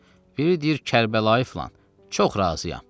Biri deyir: "Kərbəlayı filan, çox razıyam."